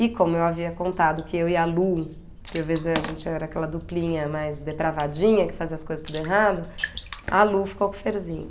E como eu havia contado que eu e a Lu, porque às vezes a gente era aquela duplinha mais depravadinha, que fazia as coisas tudo errado, a Lu ficou com o Ferzinho.